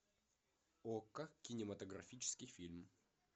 окко кинематографический фильм